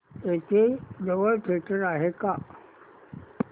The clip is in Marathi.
इथे जवळ थिएटर आहे का